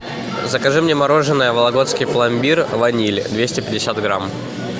закажи мне мороженое вологодский пломбир ваниль двести пятьдесят грамм